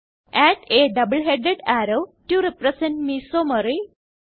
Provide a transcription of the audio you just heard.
add a double headed arrow to represent മെസോമറി